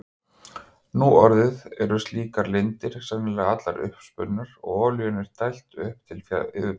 Nú orðið eru slíkar lindir sennilega allar uppurnar og olíunni er dælt upp til yfirborðsins.